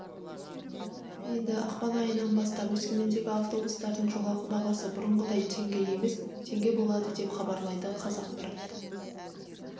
енді ақпан айынан бастап өскемендегі автобустардың жолақы бағасы бұрынғыдай теңге емес теңге болады деп хабарлайды қазақпарат